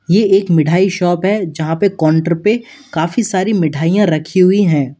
ये एक मिठाई शॉप है यहां पे काउंटर पे काफी सारी मिठाइयां रखी हुई हैं।